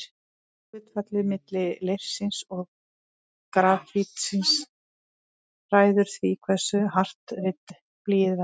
Hlutfallið milli leirsins og grafítsins ræður því hversu hart ritblýið verður.